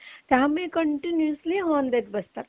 त्यामुळे continuously horn देत बसतात